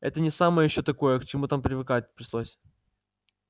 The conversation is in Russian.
это не самое ещё такое к чему там привыкать пришлось